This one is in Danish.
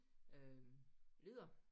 Øh ledere